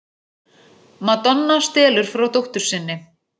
Madonna stelur frá dóttur sinni